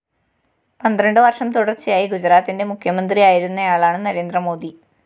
പന്ത്രണ്ട് വര്‍ഷം തുടര്‍ച്ചയായി ഗുജറാത്തിന്റെ മുഖ്യമന്ത്രിയായിരുന്നയാളാണ് നരേന്ദ്ര മോദി